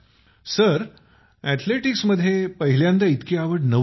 सरअथलेटिक्सममध्ये पहिल्यांदा इतकी आवड नव्हती